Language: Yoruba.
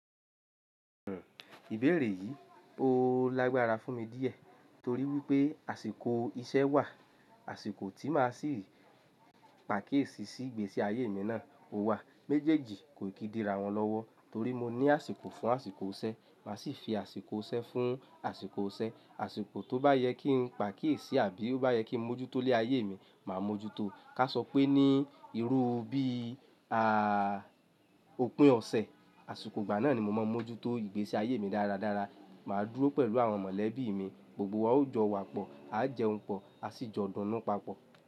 Ìbéèrè yìí ó lágbára fún mi díẹ̀ torí wípé àsìkò iṣẹ́ wà, àsìkò tí màá sì pàkíesì sí ìgbésí ayé mi náà ó wà. Méjèèjì kò ì kí di ra wọn lọ́wọ́ torí mo ní àsìkò fún àsìkò iṣẹ, màá sì fi àsìkò iṣẹ fún àsìkò iṣẹ. Àsìkò tó bá yẹ kí n pa kíesì àbí ó bá yẹ kí mo jútó ilé ayé mi, màá mójútó. Ká sọ pé ní irú bíi òpin ọ̀sẹ̀, àsìkò ìgbà náà ni mo máa ń mójútó ìgbésí ayé mi dáradára. Màá dúró pẹ̀lú àwọn mọ̀lẹ́bí mi, gbogbo wa ó jọ wa pọ̀, a jẹun pọ̀, a sì jọ dunnu papọ̀.